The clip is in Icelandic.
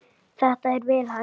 Þetta er vel hægt.